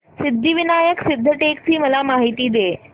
सिद्धिविनायक सिद्धटेक ची मला माहिती दे